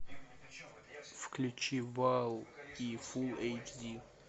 включи бал фулл эйч ди